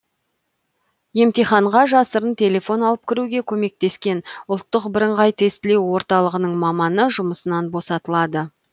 емтиханға жасырын телефон алып кіруге көмектескен ұлттық бірыңғай тестілеу орталығының маманы жұмысынан босатылады